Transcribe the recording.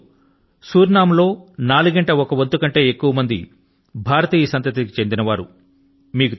ఈ రోజు సురినామ్ లో నాలుగింట ఒక వంతు కంటే ఎక్కువ మంది భారతీయ సంతతి కి చెందిన వారు